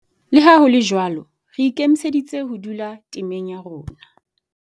Le ha ho le jwalo, re ikemiseditse ho dula temeng ya rona.